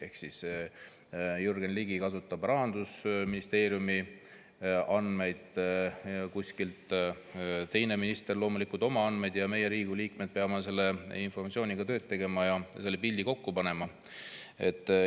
Ehk siis Jürgen Ligi kasutab Rahandusministeeriumi andmeid, teine minister loomulikult oma andmeid ja meie, Riigikogu liikmed, peame selle informatsiooniga tööd tegema ja pildi kokku panema.